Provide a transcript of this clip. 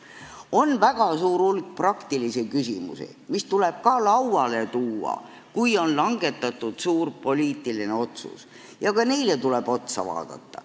On väga suur hulk praktilisi küsimusi, mis tuleb ka lauale tuua, kui on langetatud suur poliitiline otsus, ja ka need tuleb üle vaadata.